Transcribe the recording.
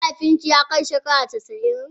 Mahaifin ki ya kai shekara casa'in?